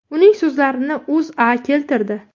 Uning so‘zlarini O‘zA keltirdi .